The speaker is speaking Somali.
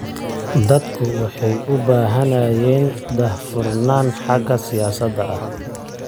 Dadku waxay u baahnaayeen daah-furnaan xagga siyaasadda ah.